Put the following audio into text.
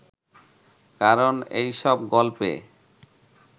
কারণ এইসব গল্পে